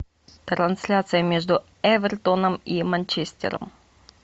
трансляция между эвертоном и манчестером